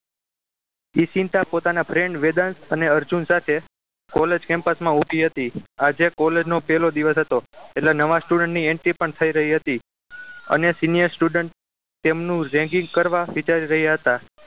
ઈશિન્તા પોતાના friend વેદાંત અને અર્જુન સાથે college campus માં ઉભી હતી આજે college નો પહેલો દિવસ હતો એટલે નવા student ની entry પણ થઈ રહી હતી અને senior student તેમનું ragging કરવા વિચારી રહ્યા હતા